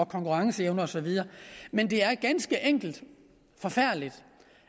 konkurrenceevne og så videre men det er ganske forfærdeligt